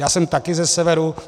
Já jsem také ze severu.